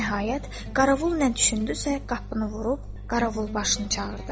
Nəhayət, Qaravul nə düşündüsə qapını vurub Qaravulbaşını çağırdı.